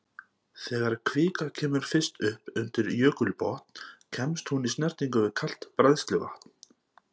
Þegar kvika kemur fyrst upp undir jökulbotn kemst hún í snertingu við kalt bræðsluvatn.